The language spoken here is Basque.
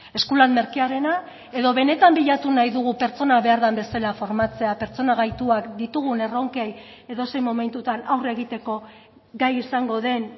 eskulan merkearena edo benetan bilatu nahi dugu pertsona behar den bezala formatzea pertsona gaituak ditugun erronkei edozein momentutan aurre egiteko gai izango den